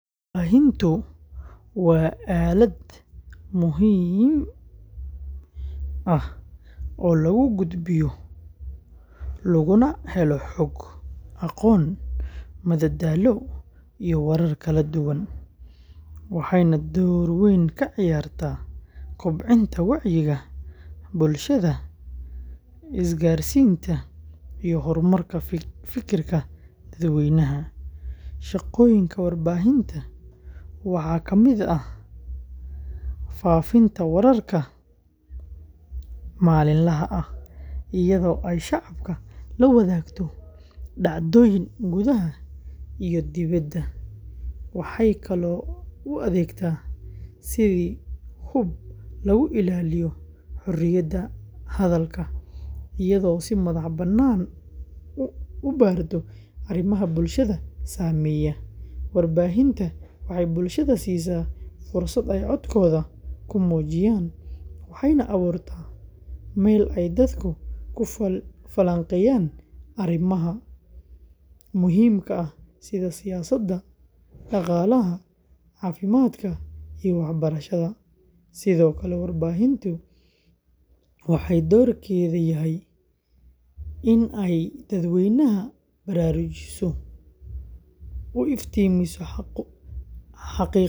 Warbaahintu waa aalad muhiim ah oo lagu gudbiyo, laguna helo xog, aqoon, madadaalo iyo warar kala duwan, waxayna door weyn ka ciyaartaa kobcinta wacyiga bulshada, isgaarsiinta, iyo horumarka fikirka dadweynaha. Shaqooyinka warbaahinta waxaa ka mid ah faafinta wararka maalinlaha ah, iyadoo ay shacabka la wadaagto dhacdooyinka gudaha iyo dibedda, waxay kaloo u adeegtaa sidii hub lagu ilaaliyo xorriyadda hadalka, iyadoo si madax-bannaan u baarto arrimaha bulshada saameeya. Warbaahinta waxay bulshada siisaa fursad ay codkooda ku muujiyaan, waxayna abuurtaa meel ay dadku ku falanqeeyaan arrimaha muhiimka ah sida siyaasadda, dhaqaalaha, caafimaadka, iyo waxbarashada. Sidoo kale, warbaahinta waxay doorkeedu yahay in ay dadweynaha baraarujiso, u iftiimiso xaqiiqooyin la qarinayo.